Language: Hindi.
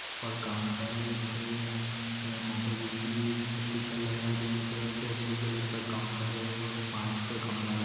और काउन्टर है। उसपे ए माताजी की स्टिकर लगा है दोनों तरफ और ब्लू कलर का काउन्टर है और पास का --